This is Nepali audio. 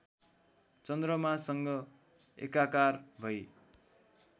चन्द्रमासँग एकाकार भई